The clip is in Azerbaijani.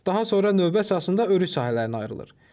Daha sonra növbə əsasında örüş sahələrinə ayrılır.